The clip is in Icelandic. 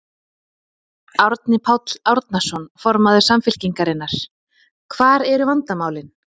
Árni Páll Árnason, formaður Samfylkingarinnar: Hvar eru vandamálin?